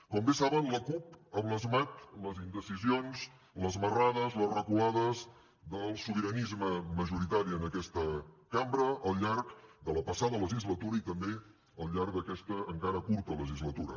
com bé saben la cup ha blasmat les indecisions les marrades les reculades del sobiranisme majoritari en aquesta cambra al llarg de la passada legislatura i també al llarg d’aquesta encara curta legislatura